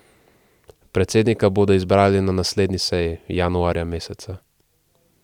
Predsednika bodo izbrali na naslednji seji, januarja meseca.